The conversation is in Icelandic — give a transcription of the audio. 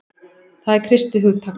Það er kristið hugtak.